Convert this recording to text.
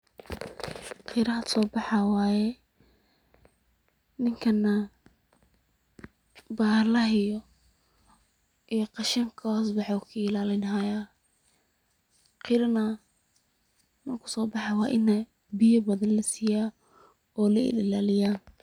Qira hadda soo baxayo waaye, ninkan nah ,bahallah iyo qashink ka hoos baxe uu ka ilaalin hayaa. Qira neh markuu soo baxayo waa in biya badan la siyaa oo la il ilaliyaa.